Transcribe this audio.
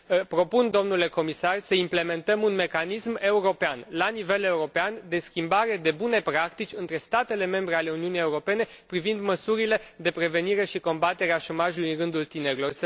Propun, domnule comisar, să implementăm un mecanism la nivel european de schimbare de bune practici între statele membre ale Uniunii Europene privind măsurile de prevenire și combatere a șomajului în rândul tinerilor.